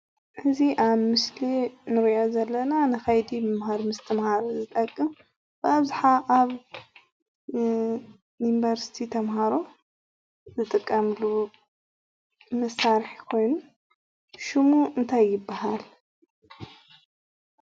እዚ አብ ምስሊ እንሪኦ ዘለና ንከይዲ ምምሃር ምስትምሃር ዝጠቅም አብዛሓ አብ ዩኒቨርስቲ ተማሃሮ ዝጥቀምሉ መሳሪሒ ኮይኑ ሽሙ እንታይ ይባሃል?